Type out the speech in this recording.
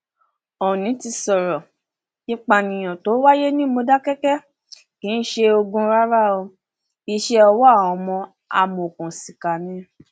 oòní ti sọrọ ìpànìyàn tó wáyé ní módékáke kì í ṣe ogun rárá iṣẹ ọwọ àwọn amòòkùnsìkà ni